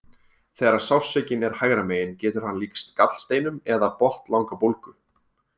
Þegar sársaukinn er hægra megin getur hann líkst gallsteinum eða botnlangabólgu.